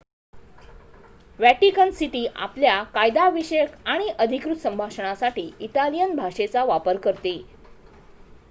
Vatican city आपल्या कायदा विषयक आणि अधिकृत संभाषणांसाठी इटालियन भाषेचा वापर करते